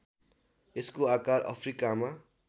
यसको आकार अफ्रिकामा